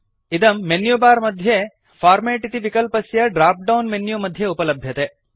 इदं मेन्युबार मध्ये फॉर्मेट् इति विकल्पस्य ड्राप्डौन् मेन्यु मध्ये उपलभ्यते